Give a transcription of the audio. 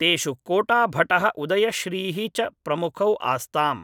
तेषु कोटाभटः उदयश्रीः च प्रमुखौ आस्ताम्